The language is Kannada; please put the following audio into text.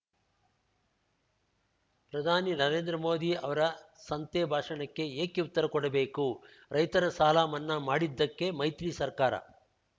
ಪ್ರಧಾನಿ ನರೇಂದ್ರ ಮೋದಿ ಅವರ ಸಂತೆ ಭಾಷಣಕ್ಕೆ ಏಕೆ ಉತ್ತರ ಕೊಡಬೇಕು ರೈತರ ಸಾಲಮನ್ನಾ ಮಾಡಿದ್ದಕ್ಕೆ ಮೈತ್ರಿ ಸರ್ಕಾರ